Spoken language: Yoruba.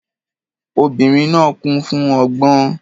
Obìnrin náà kún fún ọgbọ́n.